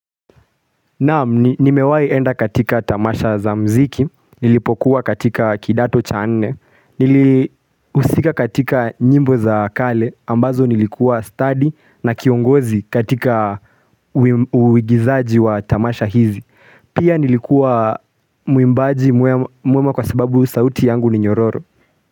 Naam, nimewahi enda katika tamasha za muziki, nilipokuwa katika kidato cha nne, nilihusika katika nyimbo za kale, ambazo nilikuwa stadi na kiongozi katika uigizaji wa tamasha hizi. Pia nilikuwa muimbaji mwema kwa sababu sauti yangu ni nyororo.